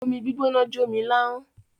Omi gbígbóná jó mi láhọ́n.